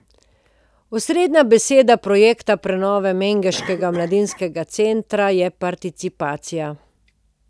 Osrednja beseda projekta prenove mengeškega mladinskega centra je participacija.